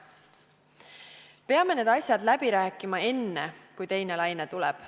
Peame need asjad läbi rääkima enne, kui teine laine tuleb.